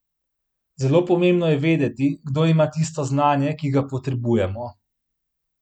Zelo pomembno je vedeti, kdo ima tisto znanje, ki ga potrebujemo.